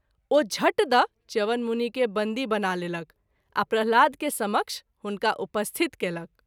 ओ झट द’ च्यवन मुनि के बन्दी बना लेलक आ प्रह्लाद के समक्ष हुनका उपस्थित कएलक।